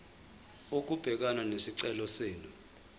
ukubhekana nesicelo senu